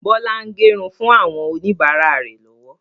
Bọlá ń gẹrun fún àwọn oníbàárà rẹ lọ́wọ́